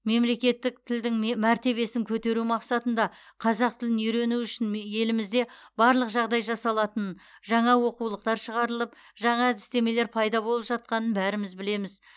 мемлекеттік тілдің ме мәртебесін көтеру мақсатында қазақ тілін үйрену үшін елімізде барлық жағдай жасалатынын жаңа оқулықтар шығарылып жаңа әдістемелер пайда болып жатқанын бәріміз білеміз